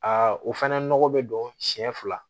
Aa o fɛnɛ nɔgɔ be don siɲɛ fila